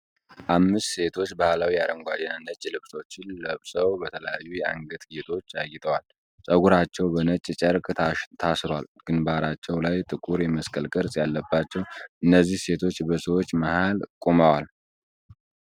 አምስት ሴቶች ባህላዊ አረንጓዴ እና ነጭ ልብሶችን ለብሰው በተለያዩ የአንገት ጌጦች አጊጠዋል። ፀጉራቸው በነጭ ጨርቅ ታስሯል ግንባራቸው ላይ ጥቁር የመስቀል ቅርጽ ያለባቸው እነዚህ ሴቶች በሰዎች መሃል ቆመዋል